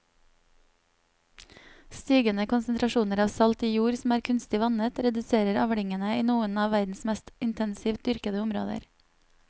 Stigende konsentrasjoner av salt i jord som er kunstig vannet reduserer avlingene i noen av verdens mest intensivt dyrkede områder.